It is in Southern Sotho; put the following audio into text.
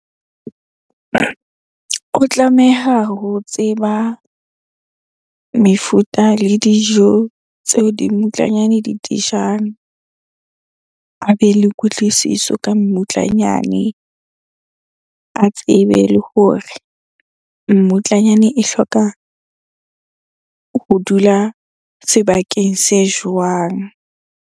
O tlameha ho tseba mefuta le dijo tseo dimmutlanyane di dijang. A be le kutlwisiso ka mmutlanyane. A tsebe le hore mmutlanyane e hloka ho dula sebakeng se jwang?